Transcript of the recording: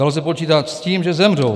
Dalo se počítat s tím, že zemřou.